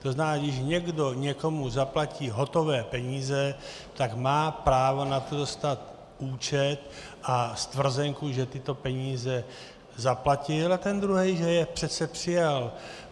To znamená, když někdo někomu zaplatí hotové peníze, tak má právo na to dostat účet a stvrzenku, že tyto peníze zaplatil, a ten druhý, že je přece přijal.